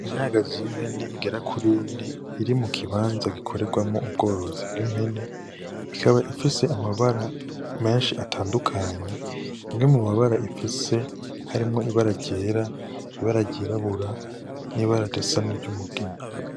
Imyagazi y'impene igera kuri ine, iri mu kibanza gikorerwamwo ubworozi bw'impene, ikaba ifise amabara menshi atandukanye. Imwe mu mabara ifise harimwo ibara ryera, ibara ryirabura, n'ibara risa n'iry'umugina.